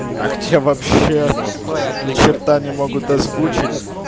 а где вообще ни черта не могут озвучить